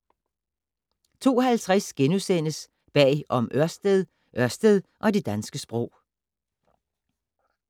02:50: Bag om Ørsted - Ørsted og det danske sprog *